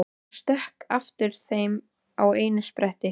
Hann stökk aftur heim í einum spretti.